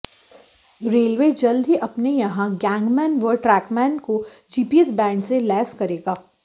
railway जल्द ही अपने यहां गैंगमैन व ट्रैकमैन को जीपीएस बैंड से लैस करेगा